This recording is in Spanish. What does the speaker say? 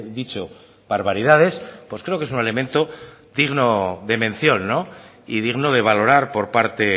dicho barbaridades pues creo que es un elemento digno de mención y digno de valorar por parte